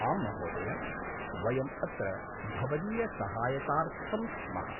आम्महोदय! वयम् अत्र भवदीयसहायतार्थं स्मः।